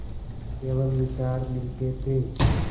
केवल विचार मिलते थे